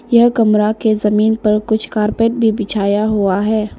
यह कमरा के जमीन पर कुछ कारपेट भी बिछाया हुआ है।